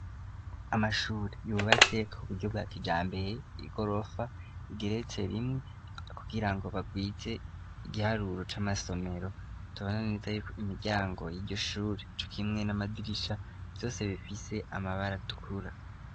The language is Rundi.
Amashuri yubatse ku buryo bwa kijambeye i gorofa igerece rimwe kugira ngo bagwize igiharuro c'amasomero toananiza yuko imiryango y'iryoshuri cukimwe n'amadigisha vyose bifise amabara tukura.